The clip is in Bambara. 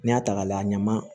N'i y'a ta k'a layɛ ɲaman